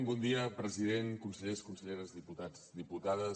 bon dia president consellers conselleres diputats diputades